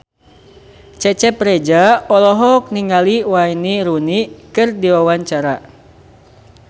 Cecep Reza olohok ningali Wayne Rooney keur diwawancara